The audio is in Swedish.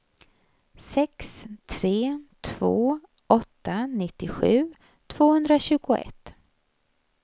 sex tre två åtta nittiosju tvåhundratjugoett